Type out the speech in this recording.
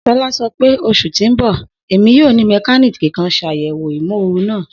Shola sọpẹ, Osu ti n bọ, Emi yoo ni mekaniki kan ṣayẹwo imooru naa.